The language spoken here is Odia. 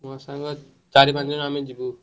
ମୋ ସାଙ୍ଗ ଚାରି ପାଞ୍ଚ ଜଣ ଆମେ ଯିବୁ।